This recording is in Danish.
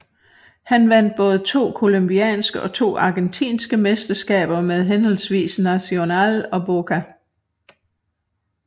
Han vandt både to colombianske og to argentinske mesterskaber med henholdsvis Nacional og Boca